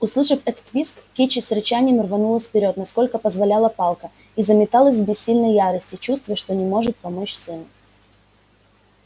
услышав этот визг кичи с рычанием рванулась вперёд насколько позволяла палка и заметалась в бессильной ярости чувствуя что не может помочь сыну